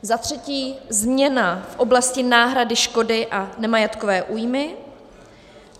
Za třetí, změna v oblasti náhrady škody a nemajetkové újmy.